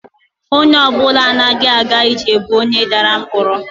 Onye ọ bụla anaghị aga ije bụ onye dara ngwọrọ